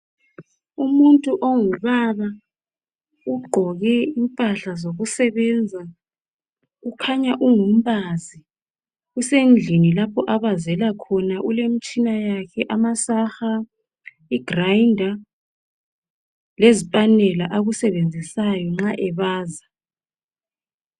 Umuntu ongubba ugqoke impahla zokusebenza. Kukhanya ungumbazi usendlini lapho abazela khona. Ulemitshina yakhe amasaha,i"grinder" lezipanela akusebenzisayo nxa ebaza.